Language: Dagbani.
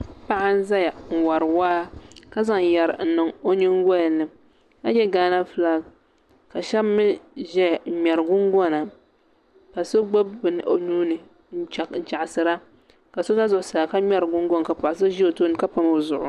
Paɣa n ʒɛya n wori waa ka zaŋ yɛri n niŋ o nyingolini ka yɛ gaana fulak ka shab mii ʒɛya n ŋmɛri gungona ka so gbubi bini o nuuni n chaɣasira ka so ʒɛ zuɣusaa ka ŋmɛri gungoŋ ka paɣa so ʒi o tooni ka pam o zuɣu